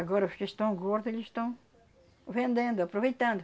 Agora os que estão gordos, eles estão vendendo, aproveitando.